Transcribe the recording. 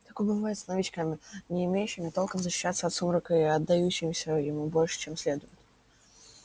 такое бывает с новичками не умеющими толком защищаться от сумрака и отдающимися ему больше чем следует